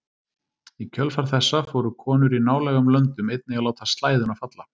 Í kjölfar þessa fóru konur í nálægum löndum einnig að láta slæðuna falla.